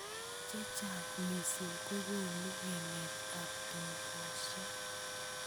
Chechang missing kokonu ng'emet ab tokoshek.